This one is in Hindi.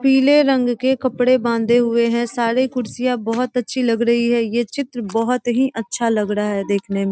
पीले रंग के कपड़े बांधे हुए हैं सारे कुर्सियां बहुत अच्छी लग रही है ये चित्र बहुत ही अच्छा लग रहा है देखने में।